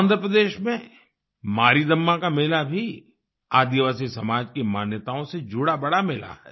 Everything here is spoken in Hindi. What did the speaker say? आँध्रप्रदेश में मारीदम्मा का मेला भी आदिवासी समाज की मान्यताओं से जुड़ा बड़ा मेला है